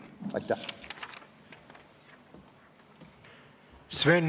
Aitäh!